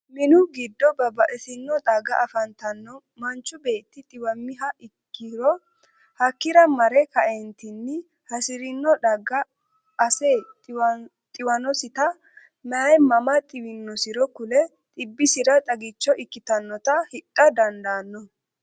minnu giddo babaxitino xagga afantanno manchu Beeti xiwamiha ikiro hakira marre ka'eentinni hasirino xagga asse xiwinosita woyi mama xiwinosiro kule xibisira xagicho ikkitanota hidha dandaano.